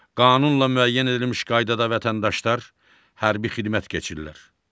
Qanunla müəyyən edilmiş qaydada vətəndaşlar hərbi xidmət keçirlər.